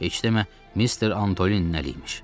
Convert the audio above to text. Heç demə Mister Antolin nə eləyimiş.